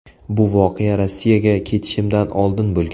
Bu voqea Rossiyaga ketishimdan oldin bo‘lgan.